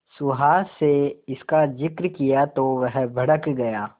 सुहास से इसका जिक्र किया तो वह भड़क गया